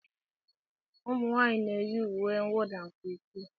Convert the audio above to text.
Ụmụnwaanyị na-eyi uwe mwụda nke ukwuu